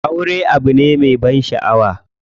Aure abu ne me ban shaʼawa.